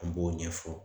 An b'o ɲɛfɔ